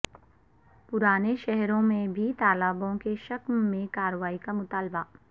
پرانے شہر میں بھی تالابوں کے شکم میں کارروائی کا مطالبہ